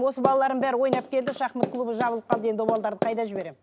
осы балаларым бәрі ойнап келді шахмат клубы жабылып қалды енді ол балаларды қайда жібермін